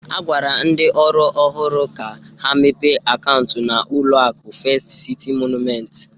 A gwara ndị ọrụ ọhụrụ ahụ ka ha mepe akaụntụ na ụlọaku Fest Citi Mọnument